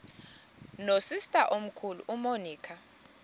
nosister omkhulu umonica